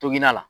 Toginna